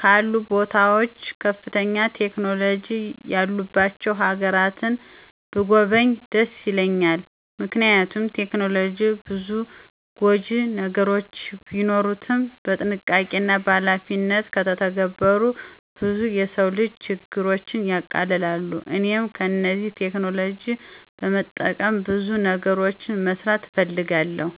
ካሉ ቦታዎች ከፍተኛ ቴክኖሎጂ ያሉባቸው ሀገራትን ብጐበኝ ደስ ይለኛል። ምክንያቱም ቴክኖሎጂ ብዙ ጐጂ ነገሮች ቢኖሩትም በጥንቃቄና በኃላፊነት ከተተገበሩ ብዙ የሰው ልጅ ችግሮችን ያቀላሉ። እኔም እነዚህን ቴክኖሎጂዎች በመጠቀም ብዙ ነገሮችን መስራት እፈልጋለሁ።